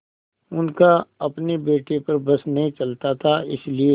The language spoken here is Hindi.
उनका अपने बेटे पर बस नहीं चलता था इसीलिए